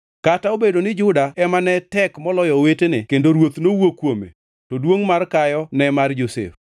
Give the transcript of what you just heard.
Kata obedo ni Juda ema ne tek moloyo owetene kendo ruoth nowuok kuome, to duongʼ mar kayo ne mar Josef.